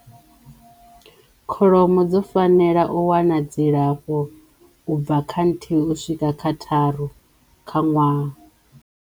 Kholomo dzo fanela u wana dzilafho ubva kha nthihi u swika kha tharu kha nwaha.